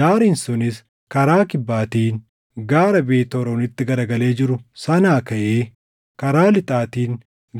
Daariin sunis karaa kibbaatiin gaara Beet Horoonitti garagalee jiru sanaa kaʼee karaa lixaatiin